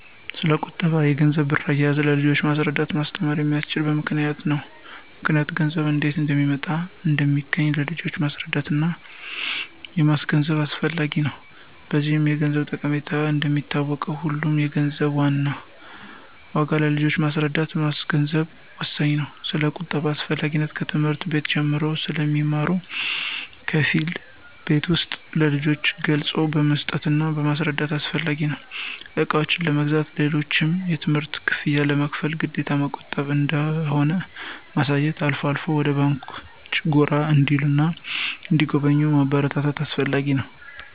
ስለቁጠባ፣ የገንዘብና ብር አያያዝ ለልጆች ማስረዳትና ማስተማር የሚቻለው በምክንያት ነው ምክንያቱም ገንዘብ እንዴት እንደሚመጣና እንደሚገኝ ለልጆች ማስረዳትና ማስገንዘብ አስፈላጊ ነው። በዚህም የገንዘብን ጠቀሜታ እንደሚያውቁት ሁሉ የገንዘብን ዋጋ ለልጆች ማስረዳትና ማስገንዘብ ወሳኝ ነው። ስለቁጠባ አስፈላጊነት ከትምህርት ቤት ጀምሮ ስለሚማሩ በከፊል ቤት ውስጥም ለልጆች ገለፃ መስጠትና ማስረዳት አስፈላጊ ነው። እቃዎችን ለመግዛት፣ ሌሎችንም የትምህርት ክፍያ ለመክፈል ግዴታ መቆጠብ እንደሆነ ማሳየትና አልፎ አልፎም ወደ ባንኮች ጎራ እንዲሉና እንዲጎበኙ ማበረታታት አስፈላጊ ነው።